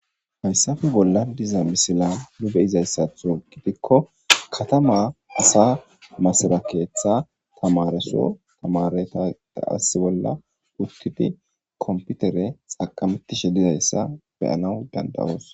hayssafe bolla diza misila nu beyizayssatho gidikko katama asa masara keeththa tamaraso tamaretada ass bolla uttidi komputere xaqamettishe dizayssa beyanaw dandawoos